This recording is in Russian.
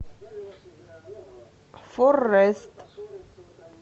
форрэст